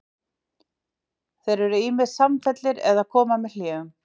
Þeir eru ýmist samfelldir eða koma með hléum.